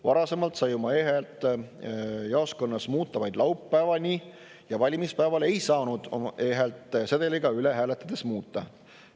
Varasemalt sai oma e-häält jaoskonnas muuta vaid laupäevani ja valimispäeval ei saanud oma e-häält sedeliga hääletades muuta.